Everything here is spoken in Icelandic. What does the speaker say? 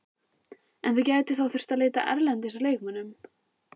En þið gætuð þá þurft að leita erlendis að leikmönnum?